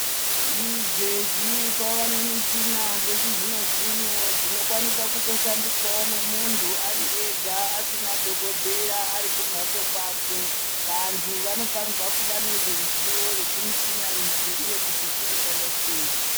Izvezvi kwava nemichina dzechizvino zvino dzinokwanisa kuto shandiswawo nemuntu ari ega asina dhokodheya ari kumhatso kwake. Vantu vanofanirwa kuva nezveruzivo rwezvimichina izvi uye kuti zvinoshanda sei.